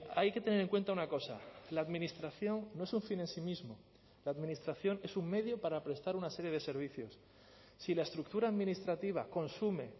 hay que tener en cuenta una cosa la administración no es un fin en sí mismo la administración es un medio para prestar una serie de servicios si la estructura administrativa consume